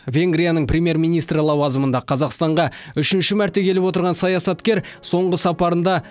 венгрияның премьер министрі лауазымында қазақстанға үшінші мәрте келіп отырған саясаткер соңғы сапарында